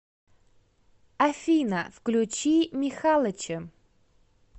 афина включи михалыча